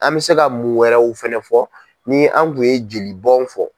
An bɛ se ka mun wɛrɛw fana fɔ ni an kun ye jolibɔn fɔ.